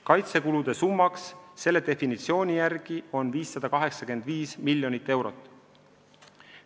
Kaitsekulude summa selle definitsiooni järgi on 585 miljonit eurot.